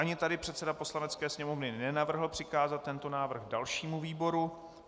Ani tady předseda Poslanecké sněmovny nenavrhl přikázat tento návrh dalšímu výboru.